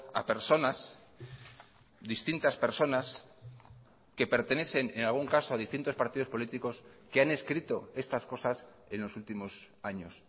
a personas distintas personas que pertenecen en algún caso a distintos partidos políticos que han escrito estas cosas en los últimos años